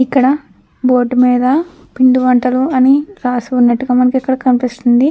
ఇక్కడ బోర్డు మీద పిండి వంటలు అని రాసి ఉన్నట్టుగా మనకిక్కడ కనిపిస్తుంది.